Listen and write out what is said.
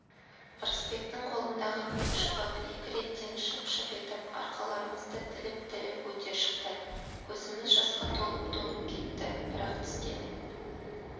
ырысбектің қолындағы көк шыбық екі реттен шып-шып етіп арқаларымызды тіліп-тіліп өте шықты көзіміз жасқа толып-толып кетті бірақ тістеніп